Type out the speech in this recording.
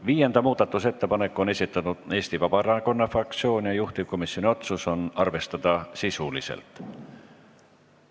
Viienda muudatusettepaneku on esitanud Eesti Vabaerakonna fraktsioon ja juhtivkomisjoni otsus on arvestada sisuliselt.